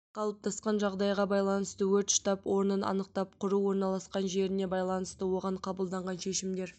қалыптасқан жағдайға байланысты өрт штаб орнын анықтап құру орналасқан жеріне байланысты оған қабылданған шешімдер